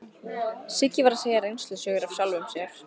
Siggi var að segja reynslusögur af sjálfum sér.